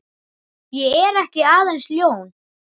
Ég er ekki aðeins ljón.